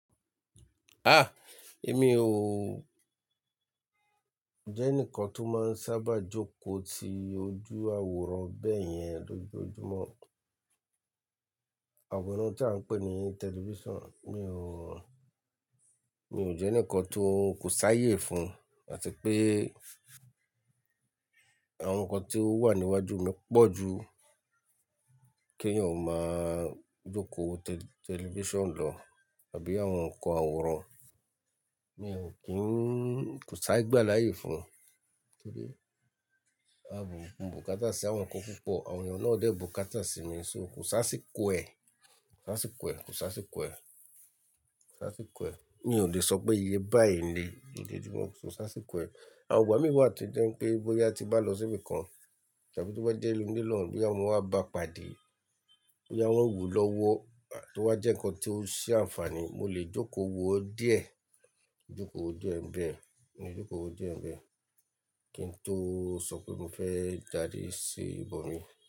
Ah! Èmi ò jẹ́ ẹnìkan tó máa ń sábà jókòó ti ojú àwòrán bẹ́ẹ̀ yẹn lójoojúmọ́. Àwòrán tí à ń pè ní tẹlifíṣàn. Mi ò, mi ò jẹ́ ẹnìkan tó kò ṣáyé fún, àti pé àwọn nǹkan tí ó wà ní iwájú mi pọ̀ ju kí ẹ̀yan ò máa jókòó wo tẹlifíṣàn lọ àbí àwọn nǹkan àwòrán. Mi ò kí n kò ṣi igbàláyè fún. Torí a ò bùkátà sí àwọn nǹkan púpọ̀, àwọn ènìyàn náà ò dẹ́ bùkátà sí mi. So kò ṣáá ṣì kọ̀ ẹ́, kò ṣáá ṣì kọ̀ ẹ́, kò ṣáá ṣì kọ̀ ẹ́, kò ṣáá ṣì kọ̀ ẹ́. Mi ò le sọ pé iye báyìí ni lójoojúmọ́, kò ṣ'áṣìkọ̀ ẹ́. Àwọn ìgbà mi wà tí jẹ́ pé bóyá tí bá lọ síbi kan àti tí ó bá jẹ́ ilé olóòrún, bí àwọn wá bá pàdé, bí àwọn wù lọ́wọ́ àti ó bá jẹ́ nǹkan tí ó ṣe àǹfààní, mo lè jókòó wo díẹ̀. Jókòó wo díẹ̀ bẹ́ẹ̀, jókòó wo díẹ̀ bẹ́ẹ̀. Kí n tó sọ pé mo fẹ́ jáde sí ibòmíràn.